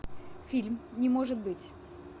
фильм не может быть